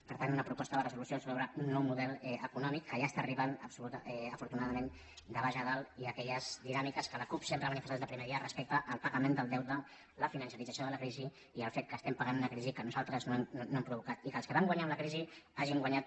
per tant una proposta de resolució sobre un nou model econò·mic que ja està arribant afortunadament de baix a dalt i aquelles dinàmiques que la cup sempre ha ma·nifestat des del primer dia respecte al pagament del deute la financerització de la crisi i el fet que estem pagant una crisi que nosaltres no hem provocat i que els que van guanyar amb la crisi hagin guanyat